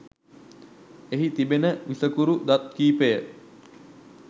එහි තිබෙන විසකුරු දත් කිහිපය